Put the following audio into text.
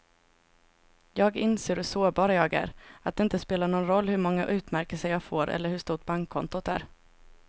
Jag inser hur sårbar jag är, att det inte spelar någon roll hur många utmärkelser jag får eller hur stort bankkontot är.